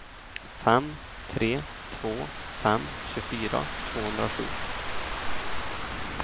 fem tre två fem tjugofyra tvåhundrasju